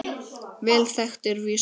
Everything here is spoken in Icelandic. Vel þekkt er vísan